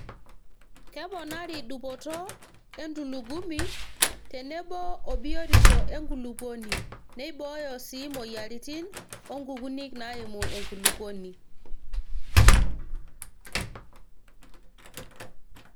Keponari dupoto entulugumi tenebo obiotisho enkulupuoni ,neibooyo sii moyiaritin oo nkukunik naimu enkulupuoni